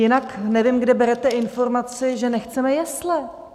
Jinak nevím, kde berete informaci, že nechceme jesle?